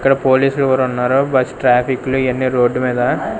ఇక్కడ పోలీసు కూడా ఉన్నారు బస్ ట్రాఫిక్ లు ఇయన్నీ రోడ్డు మీద.